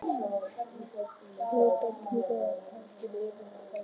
Stybban af kúamykju og hlandi var yfirþyrmandi.